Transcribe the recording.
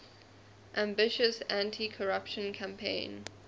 ambitious anticorruption campaign